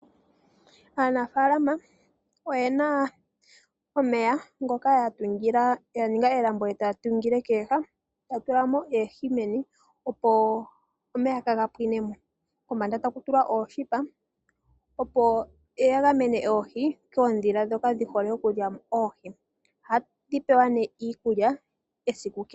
Aanafaalama oye na omeya ngoka ya tula melambo ee ta ya tungile ko kooha, ta ya tulamo oohi meni, opo omeya kaga pwinemo, kombanda ta ku tulwa ooshipa opo ya gamene oohi koodhila ndhoka dhihole oku lya oohi. Oha dhi pewa iikulya esiku kehe.